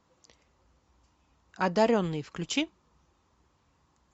одаренный включи